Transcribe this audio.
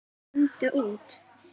Komdu út!